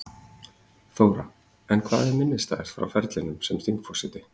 Þóra: En hvað er minnisstæðast frá ferlinum sem þingforseti?